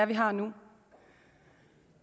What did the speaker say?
vi har nu